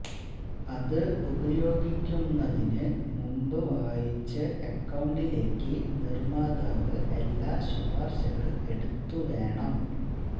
അതു ഉപയോഗിക്കുന്നതിന് മുമ്പ് വായിച്ച് അക്കൌണ്ടിലേക്ക് നിർമ്മാതാവ് എല്ലാ ശുപാർശകൾ എടുത്തു വേണം